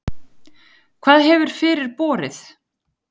Hvað hefur fyrir borið?